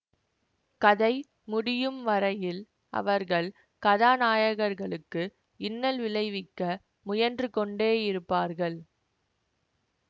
கதை முடியும் வரையில் அவர்கள் கதாநாயகர்களுக்கு இன்னல் விளைவிக்க முயன்று கொண்டேயிருப்பார்கள்